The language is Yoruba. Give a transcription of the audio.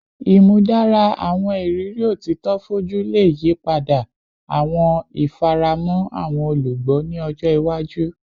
Imudara awọn iriri otito foju le yipada awọn ifaramọ awọn olugbo ni ọjọ iwaju